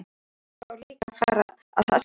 En hann má þá líka fara að haska sér.